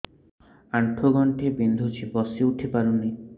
ଆଣ୍ଠୁ ଗଣ୍ଠି ବିନ୍ଧୁଛି ବସିଉଠି ପାରୁନି